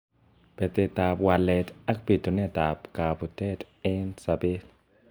Betet ab walet ak bitunet ab akabutet eng sabet.